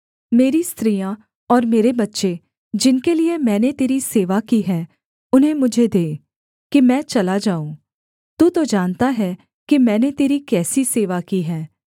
मेरी स्त्रियाँ और मेरे बच्चे जिनके लिये मैंने तेरी सेवा की है उन्हें मुझे दे कि मैं चला जाऊँ तू तो जानता है कि मैंने तेरी कैसी सेवा की है